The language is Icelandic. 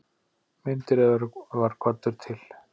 Meindýraeyðir var kvaddur til.